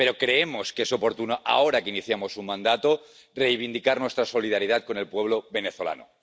Pero creemos que es oportuno, ahora que iniciamos un mandato, reivindicar nuestra solidaridad con el pueblo venezolano